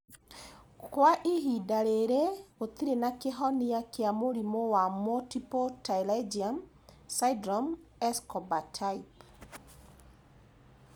Kwa ihinda rĩrĩ gũtirĩ na kĩhonia kĩa mũrimũ wa Multiple pterygium syndrome, Escobar type